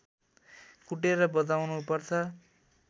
कुटेर बजाउनु पर्छ